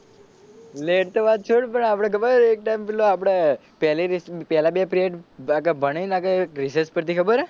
late તો વાત છોડ પણ આપડે ખબર એક ટાઇમ પેલો આપડે પેલી રિશેષ પેલા બે પીરિયડ ભણી ને આપડે એક રિશેષ પડતી ખબર હે?